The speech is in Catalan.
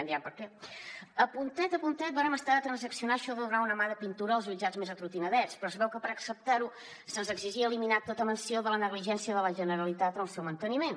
a punt a punt vàrem estar de transaccionar això de donar una mà de pintura als jutjats més atrotinadets però es veu que per acceptar ho se’ns exigia eliminar tota menció de la negligència de la generalitat en el seu manteniment